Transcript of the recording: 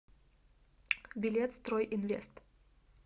билет стройинвест